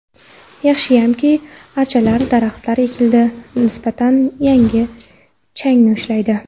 Yaxshiyamki, archalar, daraxtlar ekildi, nisbatan changni ushlaydi.